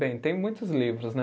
Bem, tem muitos livros, né?